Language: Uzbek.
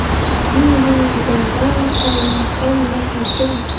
Zinedin Zidandan qoyilmaqom natija.